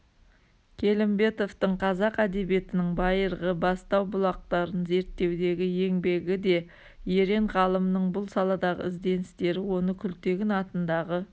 келімбетовтың қазақ әдебиетінің байырғы бастау-бұлақтарын зерттеудегі еңбегі де ерен ғалымның бұл саладағы ізденістері оны күлтегін атындағы